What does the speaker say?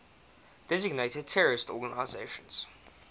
designated terrorist organizations